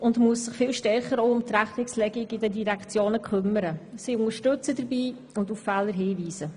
Somit muss sie sich viel stärker um die Rechnungslegung in den Direktionen kümmern, sie dabei unterstützen und auf Fehler hinweisen.